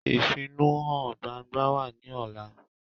Ìfẹ̀ónúhàn gbangba wá ní ọ̀la